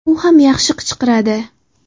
U ham yaxshi qichqiradi.